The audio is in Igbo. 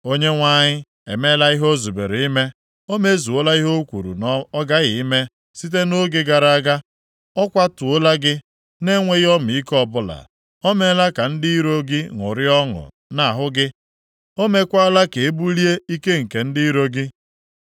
Onyenwe anyị emeela ihe o zubere ime. O mezuola ihe o kwuru na ọ ghaghị ime site nʼoge gara aga. Ọ kwatuola gị, na-enweghị ọmịiko ọbụla. O meela ka ndị iro gị ṅụrịa ọṅụ nʼahụ gị; o meekwala ka e bulie ike nke ndị iro gị.